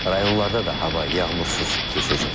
Rayonlarda da hava yağmursuz keçəcək.